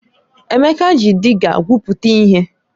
Emeka ji dịga gwuputa ihe.